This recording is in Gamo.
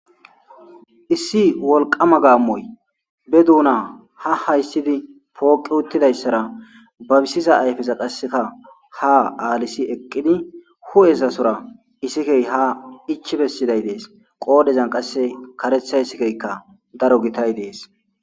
issi wolqama gaammoy be duuna ha hayssidi pooqi uttidayssara babisiza ayfeza qasseka ha aalisi eqqidi hu7esasora isikey ha ichi bessiday dees qoodezan qasse karetha sikeykka daro gitay dees